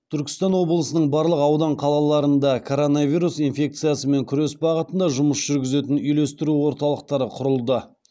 түркістан облысының барлық аудан қалаларында коронавирус инфекциясымен күрес бағытында жұмыс жүргізетін үйлестіру орталықтары құрылды